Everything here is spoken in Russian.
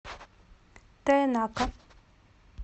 тоенака